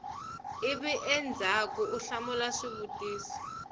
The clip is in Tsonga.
ivi endzhaku u hlamula swivutiso